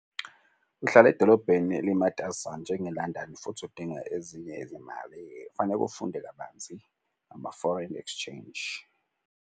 Uhlala edolobheni elimatasa njenge-London futhi udinga ezinye izimali. Kufaneke ufunde kabanzi ngama-foreign exchange.